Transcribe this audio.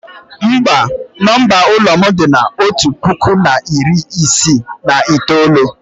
mba, nomba ụlọ m dị na otu puku na iri isii na itoolu